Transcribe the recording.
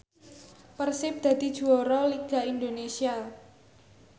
Persib dadi juara liga Indonesia